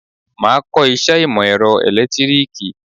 Máa kọ iṣẹ́ ìmò èrọ ẹ̀lẹ́tíríkì.